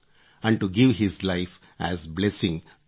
and to give his life as blessing